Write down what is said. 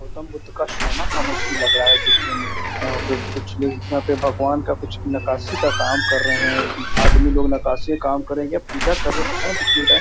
गौतम बुद्ध का सोना का मूर्ति लग रहा है देखने में | यहाँ पे कुछ लोग यहाँ पे भगवान का कुछ नकासी का काम कर रहे हैं | आदमी लोग नकासी काम करेगे । पूजा करेगे